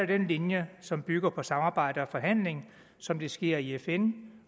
den linje som bygger på samarbejde og forhandlinger som det sker i fn